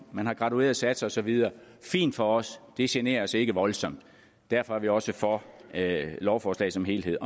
man har gradueret satser og så videre fint for os det generer os ikke voldsomt derfor er vi også for lovforslaget som helhed